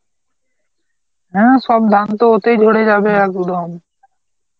হ্যাঁ সব ধান তো ওতেই ঝরে যাবে একদম.